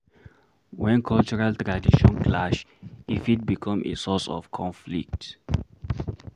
When cultural tradition clash, e fit become a source of conflict